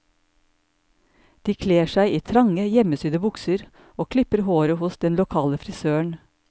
De kler seg i trange, hjemmesydde bukser, og klipper håret hos den lokale frisøren.